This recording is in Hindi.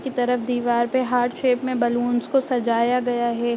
की तरफ दीवार पे हार्ट शेप में बैलून्स को सजाया गया है।